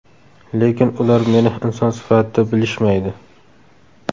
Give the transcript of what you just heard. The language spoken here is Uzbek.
Lekin ular meni inson sifatida bilishmaydi.